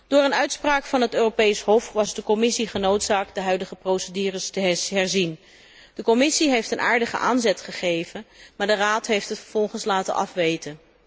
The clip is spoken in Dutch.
Door een uitspraak van het Europees Hof was de Commissie genoodzaakt de huidige procedures te herzien. De Commissie heeft een aardige aanzet gegeven, maar de Raad heeft het vervolgens laten afweten.